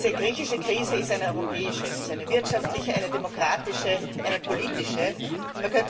Diese griechische Krise ist eine europäische. Es ist eine wirtschaftliche, eine demokratische, eine politische Krise.